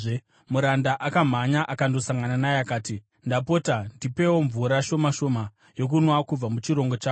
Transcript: Muranda akamhanya akandosangana naye akati, “Ndapota, ndipewo mvura shoma shoma yokunwa kubva muchirongo chako.”